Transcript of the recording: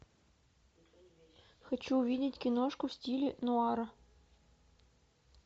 хочу увидеть киношку в стиле нуара